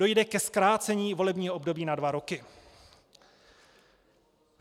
Dojde ke zkrácení volebního období na dva roky.